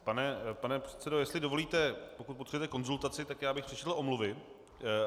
Pane předsedo, jestli dovolíte, pokud potřebujete konzultaci, tak já bych přečetl omluvy.